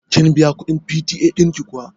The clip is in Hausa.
Kin biya kuɗin PTA ɗin ki kuwa?